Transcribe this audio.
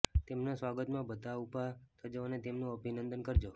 તેમના સ્વાગતમાં બધા ઊભા થજો અને તેમનું અભિનંદન કરજો